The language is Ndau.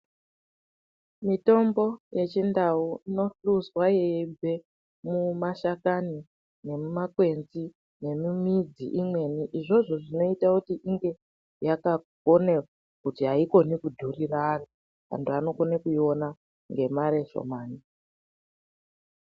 Mitombo yechindau inohluzwa yeibve mumashakani nemumakwenzi nemumidzi imweni. Izvozvo zvinoita kuti ingeyakagone kuti haikoni kudhurira antu, antu anokone kuiona ngemare shomani.